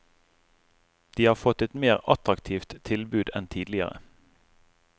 De har fått et mer attraktivt tilbud enn tidligere.